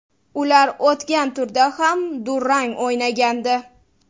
Ular o‘tgan turda ham durang o‘ynagandi.